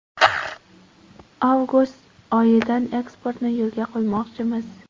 Avgust oyidan eksportni yo‘lga qo‘ymoqchimiz.